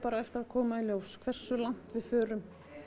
eftir að koma í ljós hversu langt við förum